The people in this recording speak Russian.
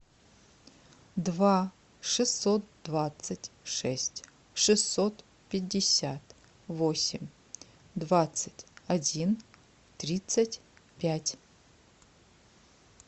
два шестьсот двадцать шесть шестьсот пятьдесят восемь двадцать один тридцать пять